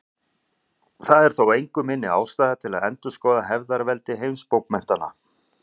Það er þó engu minni ástæða til að endurskoða hefðarveldi heimsbókmenntanna.